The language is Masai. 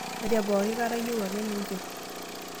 Ore pooki kata iyieu ake ninchir.